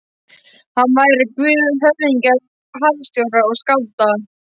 Hann væri guð höfðingja, harðstjóra og skálda.